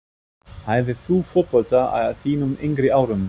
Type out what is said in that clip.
Æfðir þú fótbolta á þínum yngri árum?